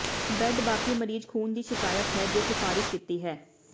bed ਬਾਕੀ ਮਰੀਜ਼ ਖ਼ੂਨ ਦੀ ਸ਼ਿਕਾਇਤ ਹੈ ਜੇ ਸਿਫਾਰਸ਼ ਕੀਤੀ ਹੈ